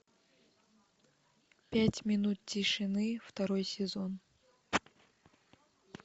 пять минут тишины второй сезон